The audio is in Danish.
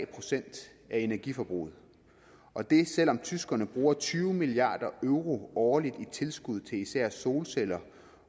procent af energiforbruget og det selv om tyskerne bruger tyve milliard euro årligt i tilskud til især solceller